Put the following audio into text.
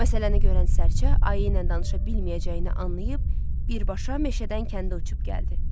Məsələni görən sərçə ayı ilə danışa bilməyəcəyini anlayıb, birbaşa meşədən kəndə uçub gəldi.